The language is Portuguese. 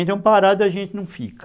Então parado a gente não fica.